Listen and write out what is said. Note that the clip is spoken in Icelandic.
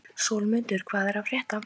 Sólmundur, hvað er að frétta?